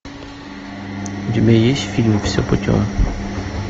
у тебя есть фильм все путем